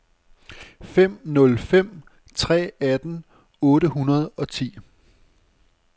fem nul fem tre atten otte hundrede og ti